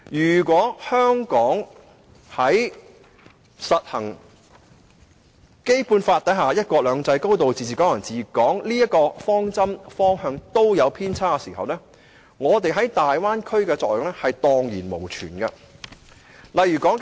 要是香港在實施《基本法》所承諾的"一國兩制"、"高度自治"及"港人治港"時有所偏差，我們的獨特優勢在大灣區便無用武之地了。